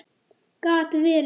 Gat verið!